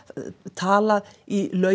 talað í